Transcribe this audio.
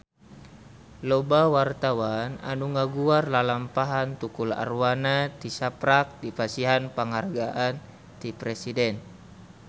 Loba wartawan anu ngaguar lalampahan Tukul Arwana tisaprak dipasihan panghargaan ti Presiden